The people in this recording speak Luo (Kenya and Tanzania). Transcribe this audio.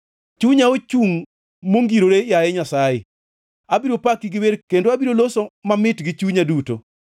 Chunya ochungʼ mongirore, yaye Nyasaye; abiro paki gi wer kendo abiro loso mamit gi chunya duto.